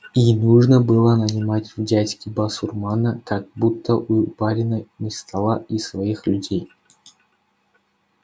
и нужно было нанимать в дядьки басурмана как будто у барина не стало и своих людей